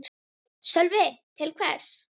Sölvi: Til hvers?